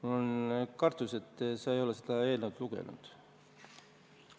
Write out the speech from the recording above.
Mul on kartus, et sa ei ole seda eelnõu lugenud.